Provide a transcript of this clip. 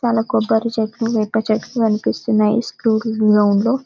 చాలా కొబ్బరి చెట్లు వేప చెట్లు కనిపిస్తున్నాయి స్కూల్ గ్రౌండ్ లో .